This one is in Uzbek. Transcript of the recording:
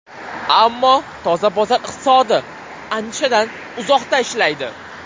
Ammo toza bozor iqtisodi andishadan uzoqda ishlaydi.